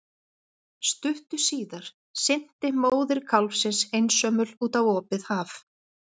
Stuttu síðar synti móðir kálfsins einsömul út á opið haf.